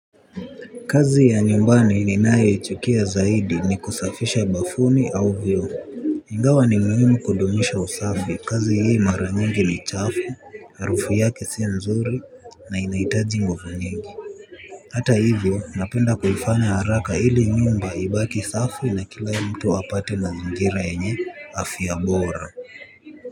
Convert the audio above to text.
Kazi ya nyumbani ninayo ichukia zaidi ni kusafisha bafuni au vio ingawa wa ni muhimu kudumisha usafi kazi hii maranyengi ni chafu harufu yake sio nzuri na inaitaji nguvu nyingi. Hata hivyo napenda kuifanya haraka ili nyumba ibaki safi na kila mtu apate mazingira yenye afya bora.